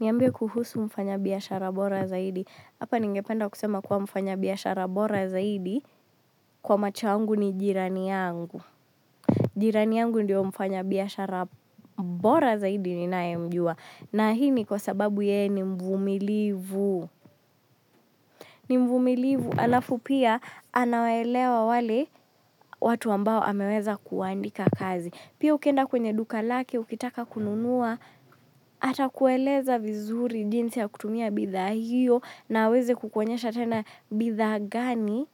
Niambie kuhusu mfanya biashara bora zaidi Hapa ningependa kusema kuwa mfanya biashara bora zaidi kwa machoangu ni jirani yangu. Jirani yangu ndiyo mfanya biashara bora zaidi ninayemjua. Na hii ni kwa sababu yeye ni mvumilivu. Ni mvumilivu. Halafu pia anawaelewa wale watu ambao ameweza kuwaandika kazi. Pia ukienda kwenye duka lake, ukitaka kununua. Atakueleza vizuri jinsi ya kutumia bidhaa hiyo. Na hawezi kukuonyesha tena bidhaa gani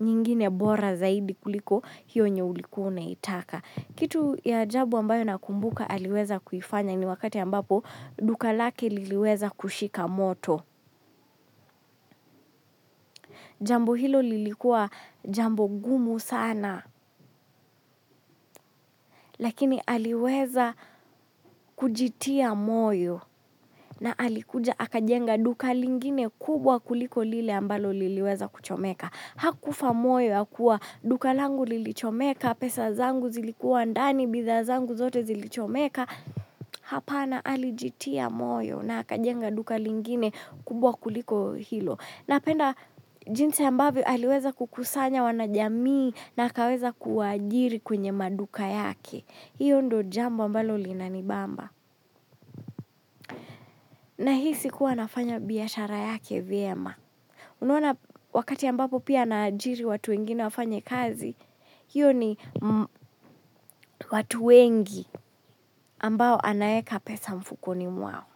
nyingine bora zaidi kuliko hiyo yenye ulikuwa unataka kitu ya ajabu ambayo nakumbuka aliweza kuifanya ni wakati ambapo duka lake liliweza kushika moto. Jambo hilo lilikuwa jambo gumu sana. Lakini aliweza kujitia moyo. Na alikuja akajenga duka lingine kubwa kuliko lile ambalo liliweza kuchomeka. Hakufa moyo, hakua duka langu lilichomeka, pesa zangu zilikuwa ndani, bidhaa zangu zote zilichomeka. Hapana alijitia moyo na akajenga duka lingine kubwa kuliko hilo. Napenda jinsi ambavyo aliweza kukusanya wanajamii na akaweza kuwaajiri kwenye maduka yake. Hiyo ndo jambo ambalo linanibamba. Nahisi kuwa anafanya biashara yake vyema. Unaona wakati ambapo pia anaajiri watu wengine wafanye kazi, hiyo ni watu wengi ambao anaeka pesa mfukoni mwao.